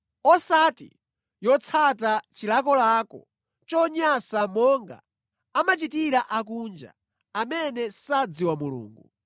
osati yotsata chilakolako chonyansa monga amachitira akunja, amene sadziwa Mulungu.